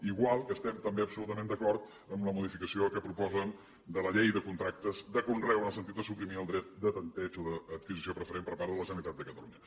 igual que estem també absolutament d’acord amb la modificació que proposen de la llei de contractes de conreu en el sentit de suprimir el dret de tanteig o d’adquisició preferent per part de la generalitat de catalunya